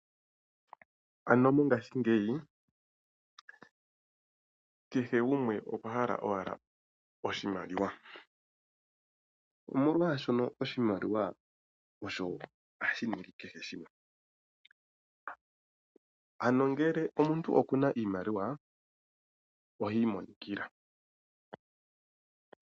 Mongaashingeyi kehe gumwe okwa hala owala oshimaliwa. Omolwaashono oshimaliwa osho hashi ningi kehe shimwe . Ngele omuntu okuna iimaliwa ohi imonikila.